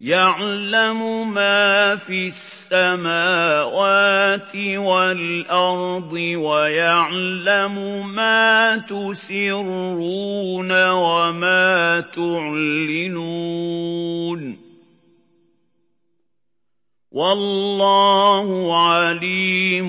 يَعْلَمُ مَا فِي السَّمَاوَاتِ وَالْأَرْضِ وَيَعْلَمُ مَا تُسِرُّونَ وَمَا تُعْلِنُونَ ۚ وَاللَّهُ عَلِيمٌ